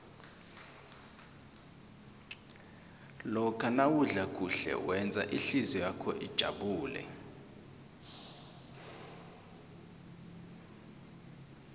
lokha nawudla kuhle wenza ihlizwakho ijabule